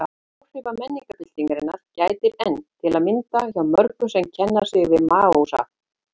Áhrifa menningarbyltingarinnar gætir enn, til að mynda hjá mörgum sem kenna sig við Maóisma.